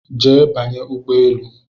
Jee banye ụgbọelu!